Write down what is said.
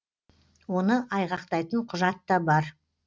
оны айғақтайтын құжат та бар